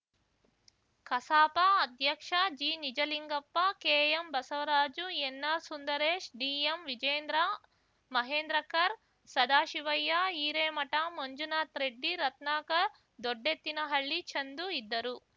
ಕಸಾಪ ಅಧ್ಯಕ್ಷ ಜಿನಿಜಲಿಂಗಪ್ಪ ಕೆಎಂ ಬಸವರಾಜು ಎನ್ನ ಸುಂದರೇಶ್ ಡಿಎಂ ವಿಜೇಂದ್ರ ಮಹೇಂದ್ರಕರ್‌ ಸದಾಶಿವಯ್ಯ ಹಿರೇಮಠ ಮಂಜುನಾಥ್ ರೆಡ್ಡಿ ರತ್ನಾಕರ್‌ ದೊಡ್ಡೆತ್ತಿನಹಳ್ಳಿ ಚಂದು ಇದ್ದರು